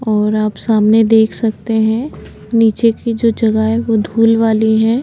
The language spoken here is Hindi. और आप सामने देख सकते हैं नीचे की जो जगह है वो धूल वाली है।